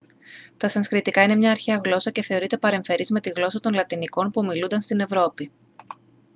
τα σανσκριτικά είναι μια αρχαία γλώσσα και θεωρείται παρεμφερής με τη γλώσσα των λατινικών που ομιλούνταν στην ευρώπη